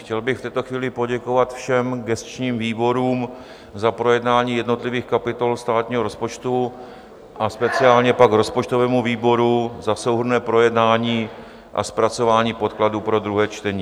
Chtěl bych v této chvíli poděkovat všem gesčním výborům za projednání jednotlivých kapitol státního rozpočtu a speciálně pak rozpočtovému výboru za souhrnné projednání a zpracování podkladů pro druhé čtení.